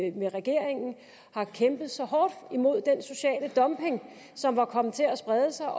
i regeringen har kæmpet så hårdt imod den sociale dumping som var kommet til at sprede sig